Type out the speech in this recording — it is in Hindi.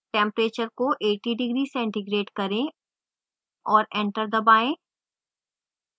temperature को 80 degc करें और एंटर दबाएँ